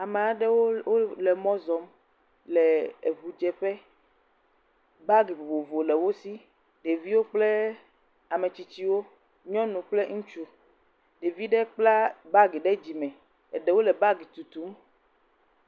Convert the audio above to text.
Ame aɖewo wole mɔ zɔm le eŋudzeƒe. Baagi vovovo le wo si. Ɖeviwo kple ametsitsiwo, nyɔnu kple ŋutsu. Ɖevi ɖe kpla bagi ɖe dzime. Eɖewo le bagi tutum.